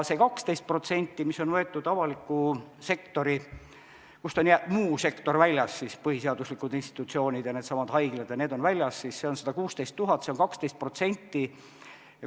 See 12%, mis on võetud avaliku sektori arvuks, kust on muu sektor välja jäetud, põhiseaduslikud institutsioonid ja needsamad haiglad, on 116 000, see on 12%.